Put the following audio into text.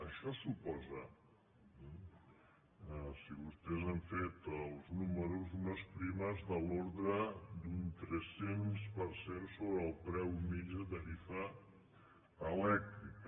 això suposa si vostès han fet els números unes primes de l’ordre d’un tres cents per cent sobre el preu mitjà de tarifa elèctrica